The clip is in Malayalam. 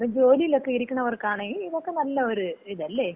അപ്പൊ ജോലിയിലക്ക ഇരിക്കുന്നവർക്കാണെങ്കി ഇതക്ക നല്ല ഒരു ഇത് അല്ലേ?